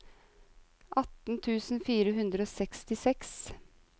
atten tusen fire hundre og sekstiseks